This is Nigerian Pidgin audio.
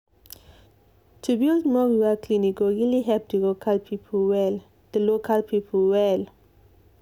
to build more rural clinic go really help the local people well.